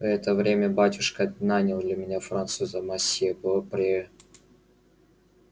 в это время батюшка нанял для меня француза мосье бопре